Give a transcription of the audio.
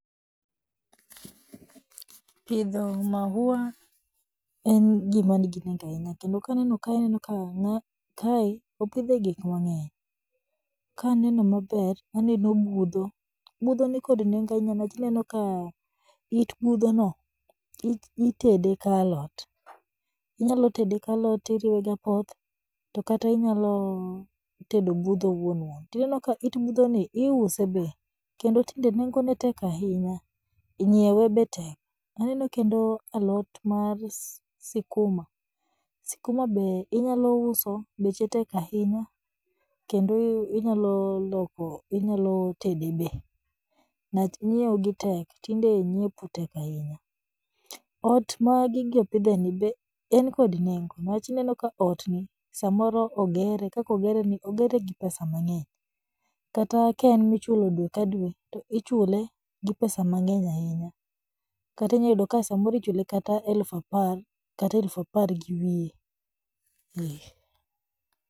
Pidho maua en gima nigi nengo ahiya, kendo kaneno kae anenoka kae opidhe gikmang'eny, kaneno maber aneno budho, budho ni kod nendo ahinya niwach ineno ka it budhono, itede ka alot, inyalotede ka alot iriwe gi apoth to kata inyalotedo budho wuonwuon, tinenoka it budhoni iuse be kendo tinde nengone tek ahinya, nyiewe be tek, aneno kendo alot mar sikuma, sikuma be inyalouso beche tek ahinya, kendo inyaloloko inyalotede be, niwach nyiwo gi tek tinde nyiepo tek ahinya, ot ma gigi opidheni be en kod nengo, niwach inenoka otni samoro ogere to kaka ogereni ogere gi pesa mang'eny, kata ka en michulo dwe ka dwe to ichule gi pesa mang'eny ahinya, kata inyayudo ka ichule gi eluf apar kata eluf apar gi wiye